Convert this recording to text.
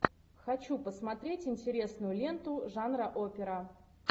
хочу посмотреть интересную ленту жанра опера